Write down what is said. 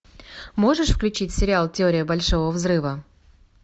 можешь включить сериал теория большого взрыва